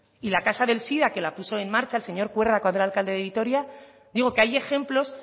y la casa del sida que la puso en marcha el señor cuerda cuando era alcalde de vitoria digo que hay ejemplos